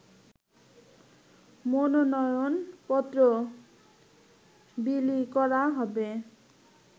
মনোনয়নপত্র বিলি করা হবে